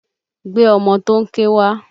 Gbé ọmọ tó ń ké wá!